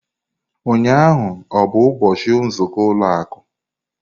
Ụnyaahụ ọ bụ ụbọchị nzukọ ụlọ akụ?